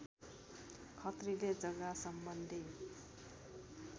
खत्रीले जग्गासम्बन्धी